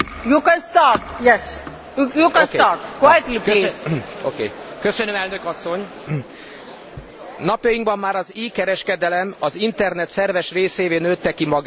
Napjainkban már az e kereskedelem az internet szerves részévé nőtte ki magát, de sajnos fellelhetőek még bizonyos hiányosságok, főleg ha a határokon átnyúló kereskedelemről beszélünk.